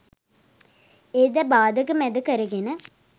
එයද බාධක මැද කර ගෙන